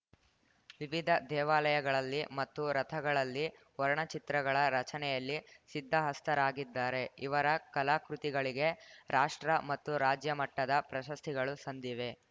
ವಿವಿಧ ದೇವಾಲಯಗಳಲ್ಲಿ ಮತ್ತು ರಥಗಳಲ್ಲಿ ವರ್ಣಚಿತ್ರಗಳ ರಚನೆಯಲ್ಲಿ ಸಿದ್ಧಹಸ್ತರಾಗಿದ್ದಾರೆ ಇವರ ಕಲಾಕೃತಿಗಳಿಗೆ ರಾಷ್ಟ್ರ ಮತ್ತು ರಾಜ್ಯಮಟ್ಟದ ಪ್ರಶಸ್ತಿಗಳು ಸಂದಿವೆ